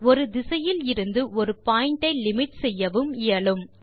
ஒரு திசையிலிருந்து ஒரு பாயிண்ட் ஐ லிமிட் செய்யவும் இயலும்